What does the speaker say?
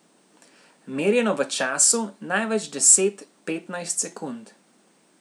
Merjeno v času, največ deset, petnajst sekund.